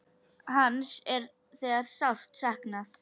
Hans er þegar sárt saknað.